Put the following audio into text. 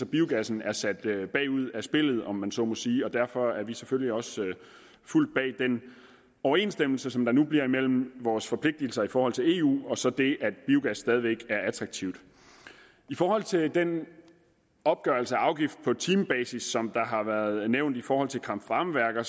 biogassen er sat ud af spillet om man så må sige og derfor står vi selvfølgelig også fuldt bag den overensstemmelse som der nu bliver mellem vores forpligtelser i forhold til eu og så det at biogas stadig væk er attraktivt i forhold til den opgørelse af afgift på timebasis som der har været nævnt i forhold til kraft varme værker